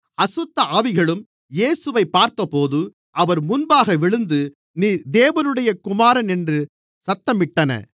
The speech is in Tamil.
அசுத்தஆவிகளும் இயேசுவைப் பார்த்தபோது அவர் முன்பாக விழுந்து நீர் தேவனுடைய குமாரன் என்று சத்தமிட்டன